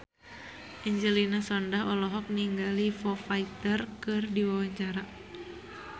Angelina Sondakh olohok ningali Foo Fighter keur diwawancara